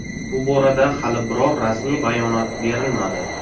Bu borada hali biror rasmiy bayonot berilmadi.